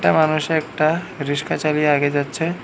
একটা মানুষে একটা রিস্কা চালিয়ে আগে যাচ্ছে।